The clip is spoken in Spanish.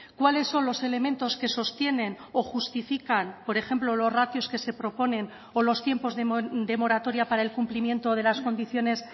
cuáles son los elementos que sostienen o justifican por ejemplo los ratios que se proponen o los tiempos de moratoria para el cumplimiento de las condiciones